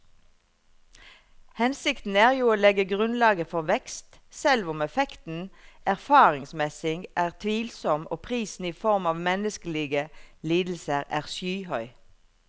Hensikten er jo å legge grunnlaget for vekst, selv om effekten erfaringsmessig er tvilsom og prisen i form av menneskelige lidelser er skyhøy.